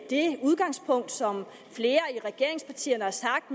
det udgangspunkt som flere i regeringspartierne har sagt